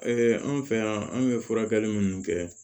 anw fɛ yan an bɛ furakɛli minnu kɛ